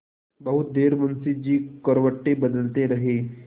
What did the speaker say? बहुत देर मुंशी जी करवटें बदलते रहे